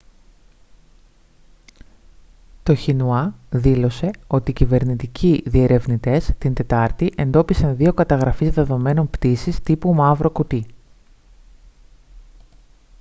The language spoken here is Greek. το xinhua δήλωσε ότι κυβερνητικοί διερευνητές την τετάρτη εντόπισαν δύο καταγραφείς δεδομένων πτήσης τύπου «μαύρο κουτί»